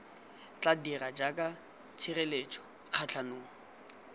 tla dira jaaka tshireletso kgatlhanong